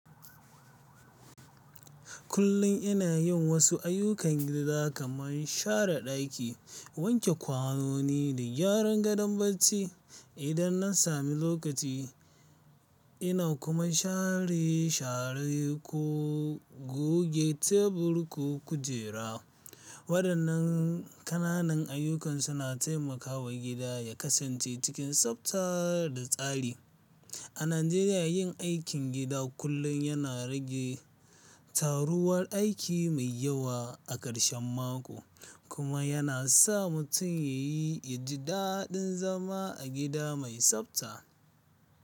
Kullum ina yin wasu ayyukan gida kamar share ɗaki, wanke kwanoni da gyara gadon barci. Idan na sami lokaci, ina kuma share-share ko goge tebur ko kujera. Waɗannan ƙananan ayyukan suna taimakawa gida ya kasance cikin tsabta da tsari. A Najeriya, yin aikin gida kullum yana rage taruwar aiki mai yawa a ƙarshen mako, kuma yana sa mutum ya yi, ya ji daɗin zama a gida mai tsabta.